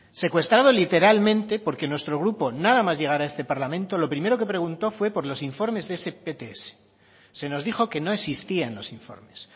secuestrado literalmente porque nuestro grupo nada más llegar a este parlamento lo primero que preguntó fue por los informes de ese pts se nos dijo que no existían los informes